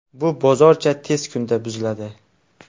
Bu bozorcha tez kunda buziladi.